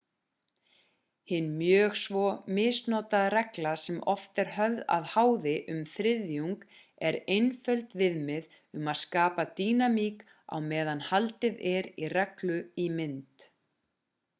hin mjög svo misnotaða regla sem oft er höfð að háði um þriðjung er einföld viðmið um að skapa dýnamík á meðan haldið er í reglu í mynd